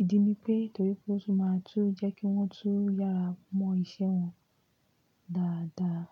ìdí ni pé nítorí pé ó sì máa tú jẹ́ kí wọ́n tún yára mọ́ iṣẹ́ wọn dáradára.